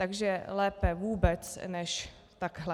Takže lépe vůbec než takhle.